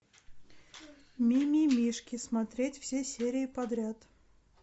мимимишки смотреть все серии подряд